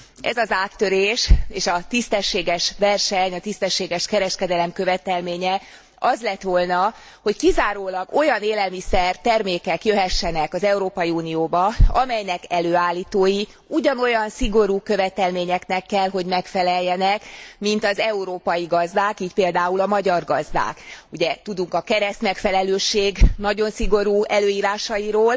Ez az áttörés és a tisztességes verseny, a tisztességes kereskedelem követelménye az lett volna, hogy kizárólag olyan élelmiszer termékek jöhessenek az Európai Unióba, amelynek előállítói ugyanolyan szigorú követelményeknek kell, hogy megfeleljenek, mint az európai gazdák, így például a magyar gazdák, ugye tudunk a keresztmegfelelőség nagyon szigorú előírásairól.